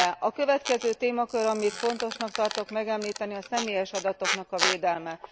A következő témakör, amit fontosnak tartok megemlíteni, a személyes adatoknak a védelme.